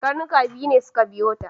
Karnuka biyu ne suka biyo ta.